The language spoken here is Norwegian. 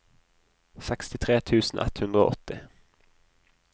sekstitre tusen ett hundre og åtti